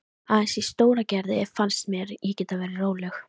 Aðeins í Stóragerði fannst mér ég geta verið róleg.